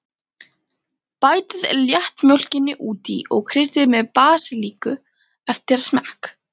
Bætið léttmjólkinni út í og kryddið með basilíku eftir smekk.